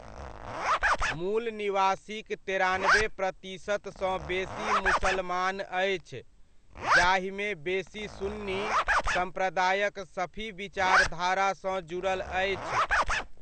मूल निवासीक तेरानबे प्रतिशतसँ बेसी मुसलमान अछि, जाहिमे बेसी सुन्नी सम्प्रदायक शफी विचारधारासँ जुड़ल अछि।